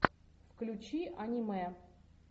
включи аниме